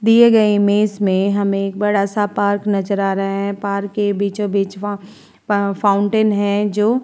दिए गए इमेज में हमे एक बड़ा सा पार्क नज़र आ रहा है। पार्क के बीचों-बीच वहाँ फाउंटेन है जो --